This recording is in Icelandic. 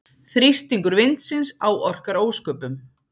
Þrýstingur vindsins áorkar ósköpum.